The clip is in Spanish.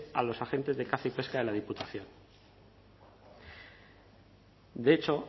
a los agentes de caza y pesca de la diputación de hecho